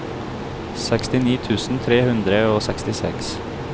sekstini tusen tre hundre og sekstiseks